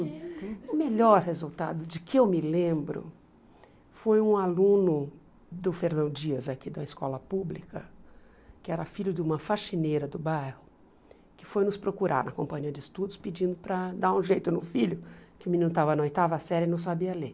O melhor resultado de que eu me lembro foi um aluno do Fernão Dias, aqui da escola pública, que era filho de uma faxineira do bairro, que foi nos procurar na companhia de estudos pedindo para dar um jeito no filho, que o menino estava na oitava série e não sabia ler.